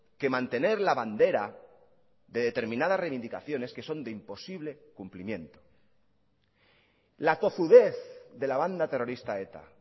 que mantener la bandera de determinadas reivindicaciones que son de imposible cumplimiento la tozudez de la banda terrorista eta